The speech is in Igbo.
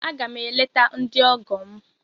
Aga m eleta ndị ọgọ m.